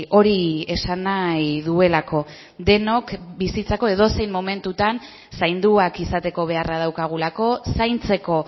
hori esan nahi duelako denok bizitzako edozein momentutan zainduak izateko beharra daukagulako zaintzeko